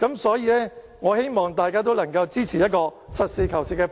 所以，我希望大家都能支持這個實事求是的方案。